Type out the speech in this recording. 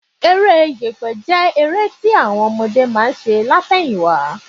Eré yẹ̀pẹ̀ jẹ́ eré tí àwọn ọmọdé máa ń ṣe lát̀ẹyìn wá